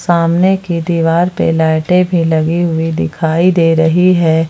सामने की दीवार पर लाइटे भी लगी हुई दिखाई दे रही है।